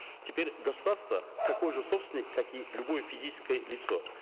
теперь государство такой же собственник как и любое физическое лицо